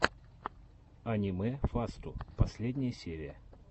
аниме фасту последняя серия